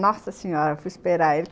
Nossa senhora, eu fui esperar ele.